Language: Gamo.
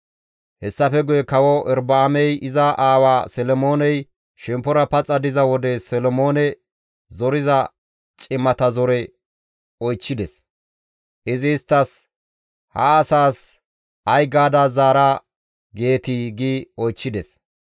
Hessafe guye kawo Erobi7aamey iza aawa Solomooney shemppora paxa diza wode Solomoone zoriza cimata zore oychchides. Izi isttas, «Ha asaas ay gaada zaara geetii?» gi oychchides.